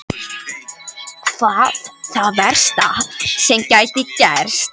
Hvað er það versta sem gæti gerst?